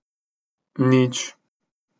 Nič.